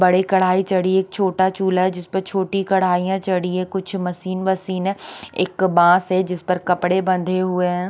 बड़ी कड़ाई चड़ी एक छोटा चुला हे जिसपे एक छोड़ीया कड़ाई चडी हे कुछ मशीन वशिन हे एक बास हे जिस पर कपडे बंधे हुए हैं।